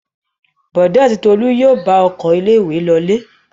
Bọ̀dé àti Tolú yóò bá ọkọ̀ ilé-ìwé lọlé.